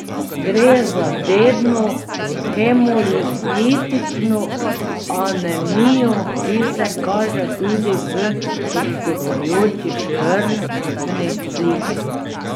Gre za dedno hemolitično anemijo, ki se kaže tudi v odstopajoči krvni sliki.